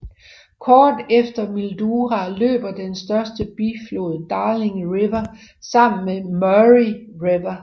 Kort efter Mildura løber den største biflod Darling River sammen med Murray River